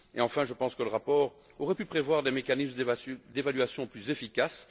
Enfin, je pense que le rapport aurait pu prévoir des mécanismes d'évaluation plus efficaces.